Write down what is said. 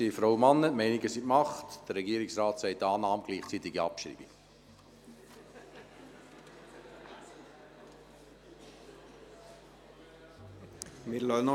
Die Meinungen sind gemacht, der Regierungsrat sagt «Annahme mit gleichzeitiger Abschreibung».